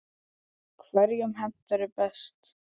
Hverjum hentar hún best?